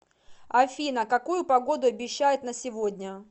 афина какую погоду обещают на сегодня